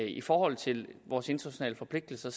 i forhold til vores internationale forpligtelser